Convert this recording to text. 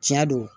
Tiɲɛ don